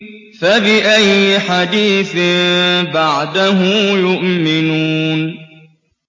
فَبِأَيِّ حَدِيثٍ بَعْدَهُ يُؤْمِنُونَ